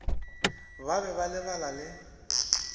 ba be ba lebala le